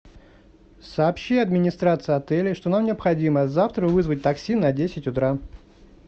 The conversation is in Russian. сообщи администрации отеля что нам необходимо завтра вызвать такси на десять утра